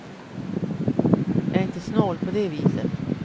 Jag är inte snål på det viset.